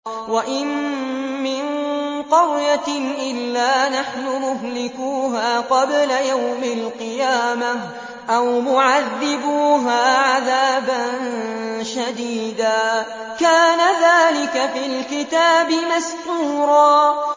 وَإِن مِّن قَرْيَةٍ إِلَّا نَحْنُ مُهْلِكُوهَا قَبْلَ يَوْمِ الْقِيَامَةِ أَوْ مُعَذِّبُوهَا عَذَابًا شَدِيدًا ۚ كَانَ ذَٰلِكَ فِي الْكِتَابِ مَسْطُورًا